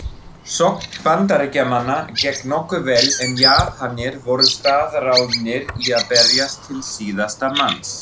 Sókn Bandaríkjamanna gekk nokkuð vel en Japanir voru staðráðnir í að berjast til síðasta manns.